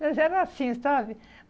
Mas era assim, sabe?